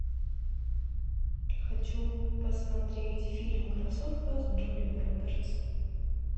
хочу посмотреть фильм красотка с джулией робертс